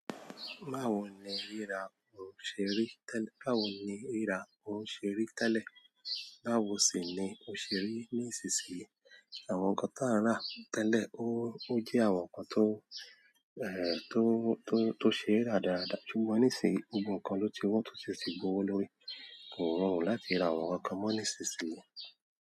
Báwo ni rira òun ṣerí tẹ́lẹ̀, báwo sì ni ó ṣerí ní ìsisìyí? Àwọn ǹkan tí a n ra tẹ́lẹ̀ ó ó je àwọn ǹkan tó, tó, tó ṣe ra dáadáa ṣùgbọ́n ní ìsì yìí gbogbo nǹkan ló ti wọ́n tó ṣì ti gbowó lórí, kò rọrùn láti ra àwọn ǹkankan mọ́ ní ìsìsìyí.